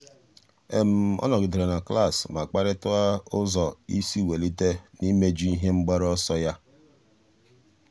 ọ́ nọ́gídèrè na klas ma kparịta ụ́zọ́ ísí wèlíté n’íméjú ihe mgbaru ọsọ ya.